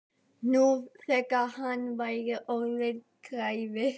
Nú þegar hann væri orðinn greifi.